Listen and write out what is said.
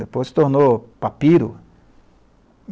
Depois se tornou papiro.